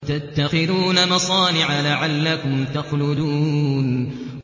وَتَتَّخِذُونَ مَصَانِعَ لَعَلَّكُمْ تَخْلُدُونَ